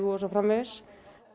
og svo framvegis